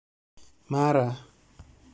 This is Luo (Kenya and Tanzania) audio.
Mara